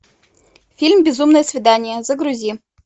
фильм безумное свидание загрузи